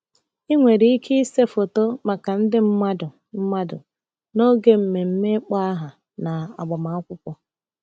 Ị nwere ike ịse foto maka ndị mmadụ mmadụ n’oge mmemme ịkpọ aha na agbamakwụkwọ.